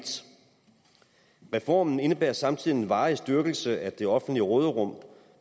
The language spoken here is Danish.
reformen indebærer samtidig en varig styrkelse af det offentlige råderum